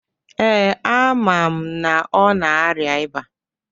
Ee, amam na ọ na-arịa ịba